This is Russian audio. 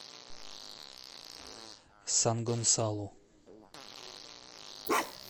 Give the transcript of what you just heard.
сан гонсалу